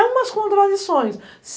É umas contradições.